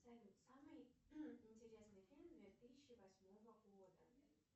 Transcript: салют самый интересный фильм две тысячи восьмого года